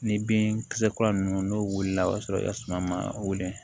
Ni bin kisɛ kura ninnu n'o wulila o y'a sɔrɔ i ka suma ma wili